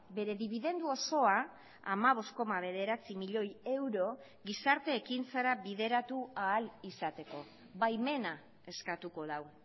bere dibidendu osoa hamabost koma bederatzi milioi euro gizarte ekintzara bideratu ahal izateko baimena eskatuko du